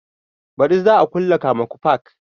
Baɗi za a kulle kamuku fark